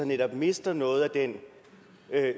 netop mister noget af den